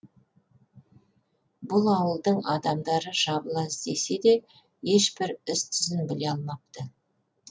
бұл ауылдың адамдары жабыла іздесе де ешбір із түзін біле алмапты